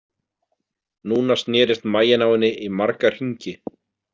Núna snerist maginn á henni í marga hringi.